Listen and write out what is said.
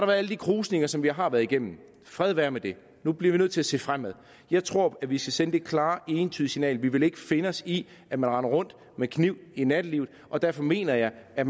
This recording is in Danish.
været alle de krusninger som vi har været igennem fred være med det nu bliver vi nødt til at se fremad jeg tror vi skal sende det klare entydige signal at vi ikke vil finde os i at man render rundt med kniv i nattelivet og derfor mener jeg at